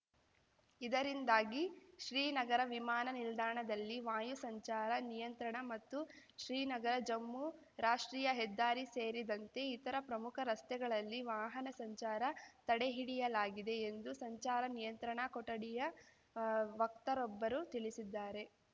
ಇದರಿಂದಾಗಿ ಶ್ರೀನಗರ ವಿಮಾನ ನಿಲ್ದಾಣದಲ್ಲಿ ವಾಯು ಸಂಚಾರ ನಿಯಂತ್ರಣ ಮತ್ತು ಶ್ರೀನಗರಜಮ್ಮು ರಾಷ್ಟ್ರೀಯ ಹೆದ್ದಾರಿ ಸೇರಿದಂತೆ ಇತರ ಪ್ರಮುಖ ರಸ್ತೆಗಳಲ್ಲಿ ವಾಹನ ಸಂಚಾರ ತಡೆಹಿಡಿಯಲಾಗಿದೆ ಎಂದು ಸಂಚಾರ ನಿಯಂತ್ರಣ ಕೊಠಡಿಯ ವಕ್ತರೊಬ್ಬರು ತಿಳಿಸಿದ್ದಾರೆ